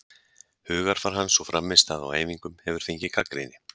Hugarfar hans og frammistaða á æfingum hefur fengið gagnrýni.